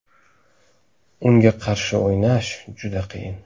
Unga qarshi o‘ynash juda qiyin.